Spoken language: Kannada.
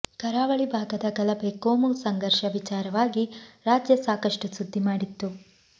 ಕರಾವಳಿ ಭಾಗದ ಗಲಭೆ ಕೋಮು ಸಂಘರ್ಷ ವಿಚಾರವಾಗಿ ರಾಜ್ಯ ಸಾಕಷ್ಟು ಸುದ್ದಿ ಮಾಡಿತ್ತು